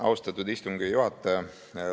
Austatud istungi juhataja!